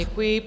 Děkuji.